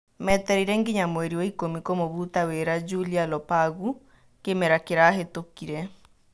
Metereire nginya mweri wa-ikũmi kũmũbuta wĩra Julia Lopagu kĩmera kĩrahetũkire.